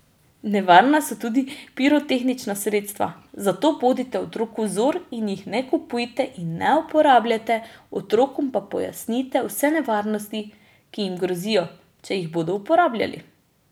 Nevarna so tudi pirotehnična sredstva, zato bodite otroku vzor in jih ne kupujte in ne uporabljate, otrokom pa pojasnite vse nevarnosti, ki jim grozijo, če jih bodo uporabljali.